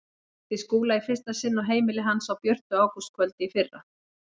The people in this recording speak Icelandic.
Ég hitti Skúla í fyrsta sinn á heimili hans á björtu ágústkvöldi í fyrra.